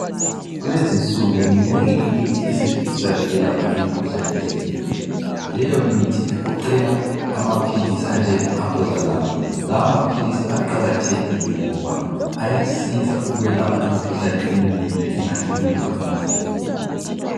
Kulezi nsuku minengi imithi esetshenziswayo ukwelapha imikhuhlane ehlukeneyo. Leyo mithi igoqela amaphilisi anjenge Alprazolam. Lawa maphilisi aqakathekile ngoba ayasiza ukwelapha imikhuhlane eminengi engahlukumeza umzimba.